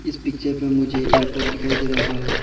इस पिक्चर पें मुझे एयरपोर्ट दिखाई दे रहा है।